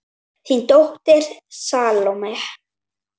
Þín dóttir, Salome.